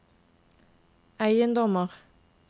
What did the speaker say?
eiendommer